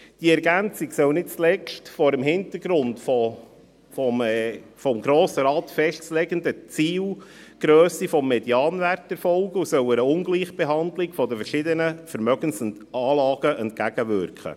Diese Ergänzung soll nicht zuletzt vor dem Hintergrund der vom Grossen Rat festzulegenden Zielgrösse des Medianwerts erfolgen und soll einer Ungleichbehandlung zwischen verschiedenen Vermögensanlagen entgegenwirken.